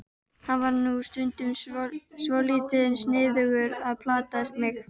Hann var nú stundum svolítið sniðugur að plata mig.